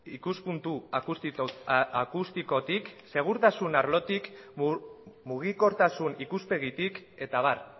ikuspuntu akustikotik segurtasun arlotik mugikortasun ikuspegitik eta abar